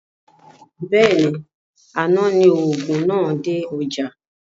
Bẹ́ẹ̀ni, àná ni òògùn náà dé ọjá